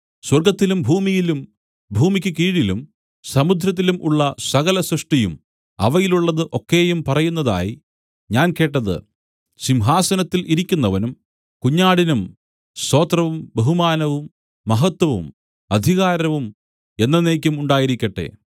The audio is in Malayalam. സ്വർഗ്ഗത്തിലും ഭൂമിയിലും ഭൂമിക്കു കീഴിലും സമുദ്രത്തിലും ഉള്ള സകല സൃഷ്ടിയും അവയിലുള്ളത് ഒക്കെയും പറയുന്നതായി ഞാൻ കേട്ടത് സിംഹാസനത്തിൽ ഇരിക്കുന്നവനും കുഞ്ഞാടിനും സ്തോത്രവും ബഹുമാനവും മഹത്വവും അധികാരവും എന്നെന്നേക്കും ഉണ്ടായിരിക്കട്ടെ